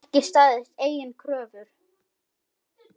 Ekki staðist eigin kröfur.